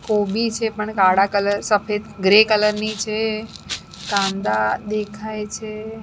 કોબી છે પણ કાળા કલર સફેદ ગ્રે કલર ની છે કાંદા દેખાય છે.